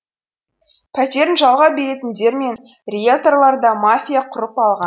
пәтерін жалға беретіндер мен риелторлар да мафия құрып алған